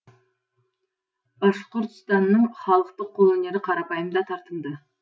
башқұртстанның халықтық қолөнері қарапайым да тартымды